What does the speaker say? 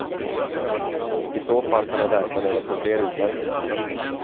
I så fall kan han räkna med att få fler utmärkelser.